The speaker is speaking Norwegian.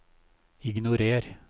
ignorer